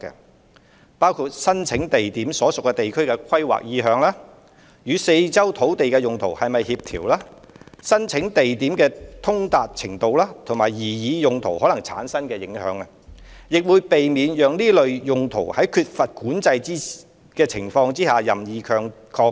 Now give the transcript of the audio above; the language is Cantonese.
相關的考慮因素包括申請地點所屬地區的規劃意向、與四周的土地用途是否協調、申請地點的通達程度，以及擬議用途可能產生的影響，亦會避免讓這類用途在缺乏管制的情況下任意擴張。